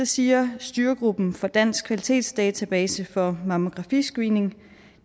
siger styregruppen for dansk kvalitetsdatabase for mammografiscreening